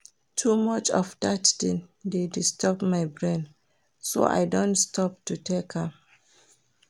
Too much of dat thing dey disturb my brain so I don stop to take am